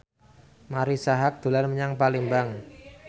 Marisa Haque dolan menyang Palembang